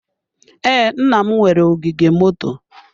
Ee, nna m nwere ogige moto.